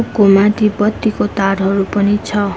को माथि बत्तीको तारहरू पनि छ।